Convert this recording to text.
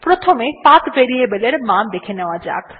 প্রথমে path variable এর মান দেখে নেওয়া যাক